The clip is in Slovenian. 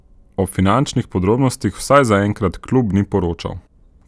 O finančnih podrobnostih vsaj zaenkrat klub ni poročal.